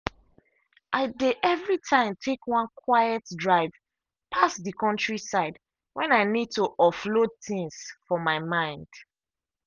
i dey every time take one quiet drive pass the countryside when i need to offload things for my mind.